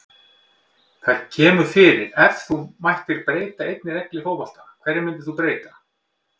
Það kemur fyrir Ef þú mættir breyta einni reglu í fótbolta, hverju myndir þú breyta?